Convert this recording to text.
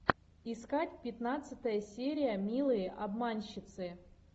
искать пятнадцатая серия милые обманщицы